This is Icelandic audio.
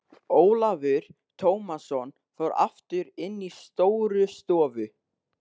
Ólafur Tómasson fór aftur inn í Stórustofu.